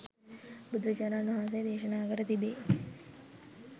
බුදුරජාණන් වහන්සේ දේශනා කර තිබේ.